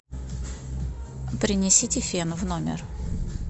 принесите фен в номер